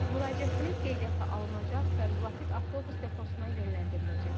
Müraciətiniz qeydiyyata alınacaq və müvafiq avtobus deposuna yönləndiriləcəkdir.